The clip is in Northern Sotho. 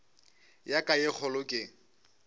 ya ka ye kgolo ke